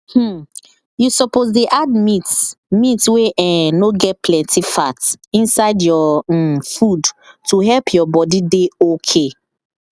um you suppose dey add meat meat wey um no get plenty fat inside your um food to help your body dey okay